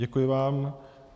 Děkuji vám.